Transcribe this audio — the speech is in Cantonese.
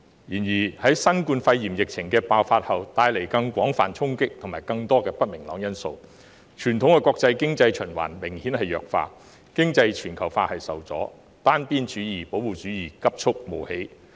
然而，新冠肺炎疫情爆發帶來廣泛衝擊及不明朗因素，傳統的國際經濟循環明顯弱化，經濟全球化受阻，單邊主義、保護主義急促冒起。